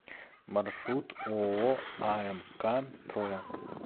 маршрут ооо амк троя